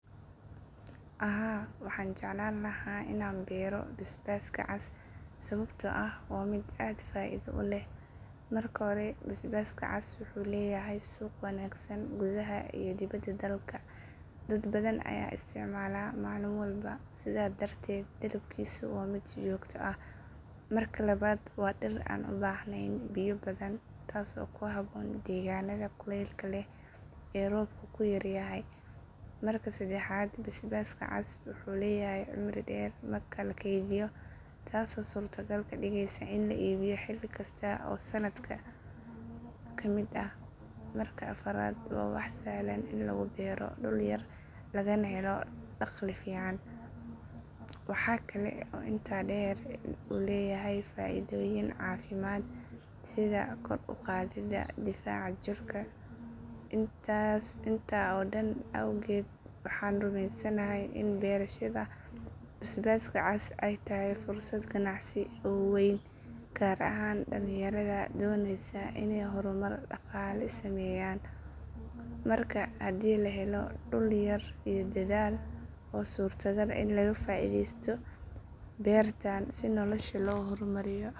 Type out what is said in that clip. Haa, waxaan jeclaan lahaa inaan beero basbaaska cas sababtoo ah waa mid aad faa'iido u leh. Marka hore, basbaaska cas wuxuu leeyahay suuq wanaagsan gudaha iyo dibadda dalka. Dad badan ayaa isticmaala maalin walba sidaa darteed dalabkiisu waa mid joogto ah. Marka labaad, waa dhir aan u baahnayn biyo badan, taas oo ku habboon deegaannada kuleylka leh ee roobku yaryahay. Marka saddexaad, basbaaska cas wuxuu leeyahay cimri dheer marka la keydiyo, taasoo suurtogal ka dhigaysa in la iibiyo xilli kasta oo sanadka ka mid ah. Marka afraad, waa wax sahlan in lagu beero dhul yar lagana helo dakhli fiican. Waxa kale oo intaa dheer in uu leeyahay faa’iidooyin caafimaad sida kor u qaadidda difaaca jirka. Intaa oo dhan awgeed, waxaan rumaysanahay in beerashada basbaaska cas ay tahay fursad ganacsi oo weyn, gaar ahaan dhalinyarada doonaysa inay horumar dhaqaale sameeyaan. Marka haddii la helo dhul yar iyo dadaal, waa suurtagal in laga faa’iidaysto beertan si nolosha loo horumariyo.